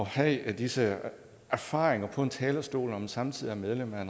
have disse erfaringer på talerstolen når man samtidig er medlem af